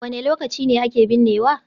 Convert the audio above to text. Wane lokaci ne ake binnewa?